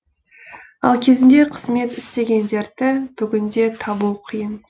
ал кезінде қызмет істегендерді бүгінде табу қиын